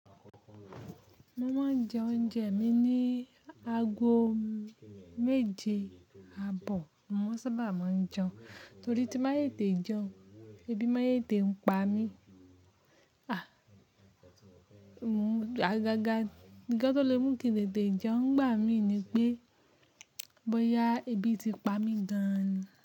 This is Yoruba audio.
Mo máa ń jẹ oúnjẹ mi ní ago méje àbọ̀, mo sábà máa ń jẹun torí tí máa yete jẹun, ebi máa yete ń pa mí. Àga ga, nkan tó lé mú kí n tètè jẹun, gbà mí ní pé, bóyá ebi ti pa mí gan ni.